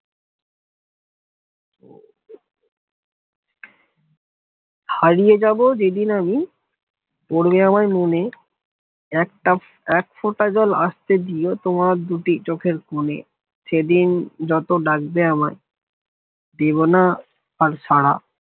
হারিয়ে যাব যেদিন আমি পড়বে আমায় মনে একটা এক ফোটা জল আসতে দিও তোমার দুটি চোখের কোনে, সেদিন যতো ডাকবে আমায় দেবনা আর সারা